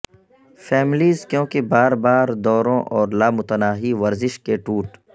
families کیونکہ بار بار دوروں اور لامتناہی ورزش کے ٹوٹ